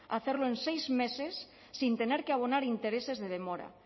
hacerlo en seis meses sin tener que abonar intereses de demora